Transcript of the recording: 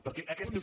perquè aquest és